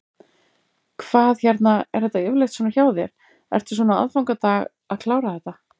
Hvað hérna, er þetta yfirleitt svona hjá þér, ertu svona á aðfangadag að klára þetta?